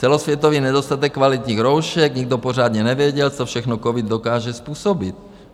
Celosvětový nedostatek kvalitních roušek, nikdo pořádně nevěděl, co všechno covid dokáže způsobit.